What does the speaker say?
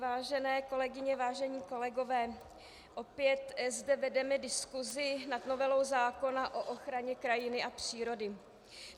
Vážené kolegyně, vážení kolegové, opět zde vedeme diskusi nad novelou zákona o ochraně krajiny a přírody.